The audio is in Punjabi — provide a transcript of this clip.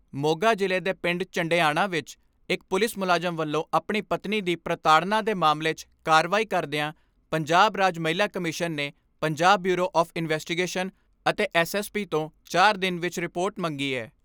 ਮੋਗਾ ਜਿਲ੍ਹੇ ਦੇ ਪਿੰਡ ਝੰਡੇਆਨਾ ਵਿਚ ਇਕ ਪੁਲਿਸ ਮੁਲਾਜਮ ਵਲੋਂ ਆਪਣੀ ਪਤਨੀ ਦੀ ਪ੍ਰਤਾੜਨਾ ਦੇ ਮਾਮਲੇ 'ਚ ਕਾਰਵਾਈ ਕਰਦਿਆਂ ਪੰਜਾਬ ਰਾਜ ਮਹਿਲਾ ਕਮਿਸਨ ਨੇ ਪੰਜਾਬ ਬਿਊਰੋ ਆਫ ਇਨਵੈਸਟੀਗੇਸ਼ਨ ਅਤੇ ਐਸ.ਐਸ.ਪੀ ਤੋਂ ਚਾਰ ਦਿਨ ਵਿਚ ਰਿਪੋਰਟ ਮੰਗੀ ਐ।